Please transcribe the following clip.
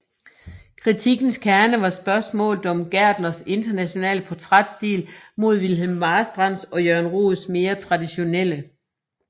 Kritikkens kerne var spørgsmålet om Gertners internationale portrætstil mod Wilhelm Marstrands og Jørgen Roeds mere traditionelle